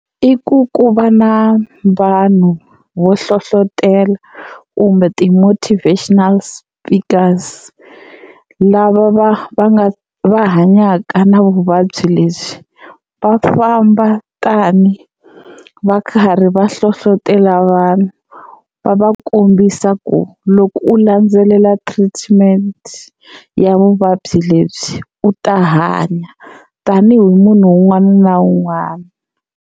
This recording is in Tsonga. I ku ku va na vanhu vo hlohlotelo kumbe ti-motivational speakers lava va va nga va hanyaka na vuvabyi lebyi, va famba tani va karhi va hlohlotelo vanhu va va kombisa ku loko u landzelela treatment ya vuvabyi lebyi u ta hanya tanihi munhu un'wana na un'wana.